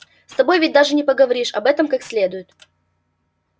с тобой ведь даже не поговоришь об этом как следует